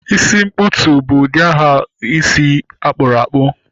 Isi nkpụtu bụ aha ụdị isi akpụrakpụ